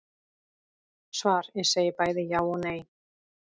Svar Ég segi bæði já og nei.